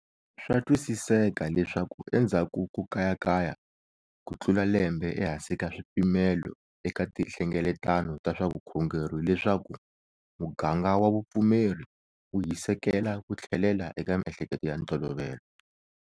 Swa twisiseka leswaku endzhaku ko kayakaya kutlula lembe ehansi ka swipimelo eka tinhlengeletano ta swa vukhongeri leswaku muganga wa vupfumeri wu hisekela ku tlhelela eka miehleketo ya ntolovelo.